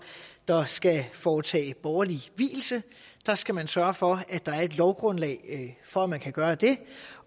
der skal foretage borgerlig vielse der skal man sørge for at der er et lovgrundlag for at man kan gøre det